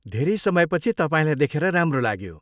धेरै समयपछि तपाईँलाई देखेर राम्रो लाग्यो।